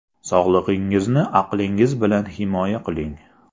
Sog‘lig‘ingizni aqlingiz bilan himoya qiling.